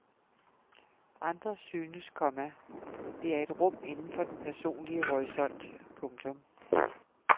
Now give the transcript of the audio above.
Andre synes, komma det er et rum inden for den personlige horisont. punktum